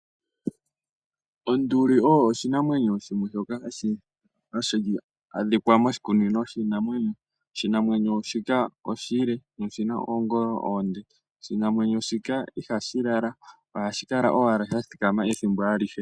Onduli oyo oshinamwenyo shimwe shoka hashi adhika moshikunino shiinamwenyo. Oshinamwenyo shika oshile na oshina oongolo oonde. Oshinamwenyo shika ihashi lala, ohashi kala owala sha thikama ethimbo alihe.